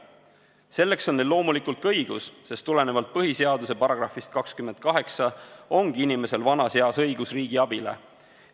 Selleks on neil loomulikult ka õigus, sest tulenevalt põhiseaduse §-st 28 ongi inimesel vanas eas õigus riigi abile.